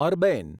Arbaeen